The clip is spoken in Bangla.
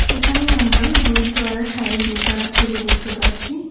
এখানে আমরা গুরুদুয়ারা সাহিব বীরপাড়ার ছবি দেখতে পাচ্ছি।